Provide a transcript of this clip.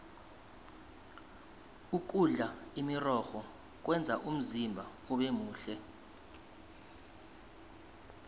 ukudla imirorho kwenza umzimba ubemuhle